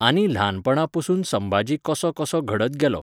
आनी ल्हानपणा पसून संभाजी कसो कसो घडत गेलो.